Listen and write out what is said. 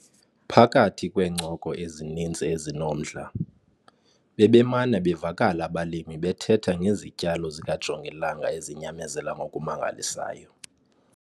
Phakathi kweencoko ezininzi ezinomdla, bebemana bevakala abalimi bethetha ngezityalo zikajongilanga ezinyamezela ngokumangalisayo.